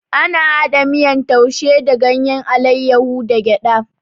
Ana hada miyan taushi da ganyen alaiyahu da gyada